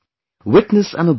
Witness and observe